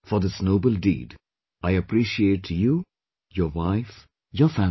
For this noble deed, I appreciate you, your wife, your family